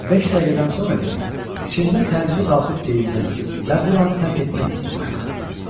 Beş dəqiqədən sonra isə içimdə təcili qalxıb geyinmək və buranı tərk etmək hissi baş qaldırdı.